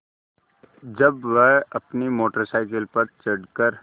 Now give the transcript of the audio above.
जब वह अपनी मोटर साइकिल पर चढ़ कर